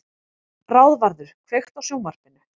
Ráðvarður, kveiktu á sjónvarpinu.